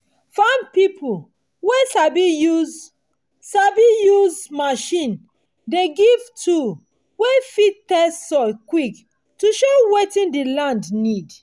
farm pipo wey sabi use sabi use machine dey give tool wey fit test soil quick to show wetin the land need